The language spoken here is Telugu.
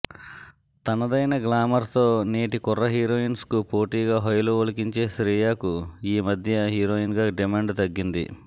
తనదైన గ్లామర్తో నేటి కుర్ర హీరోయిన్స్కు పోటీగా హొయలు ఒలికించే శ్రీయకు ఈమధ్య హీరోయిన్గా డిమాండ్ తగ్గింది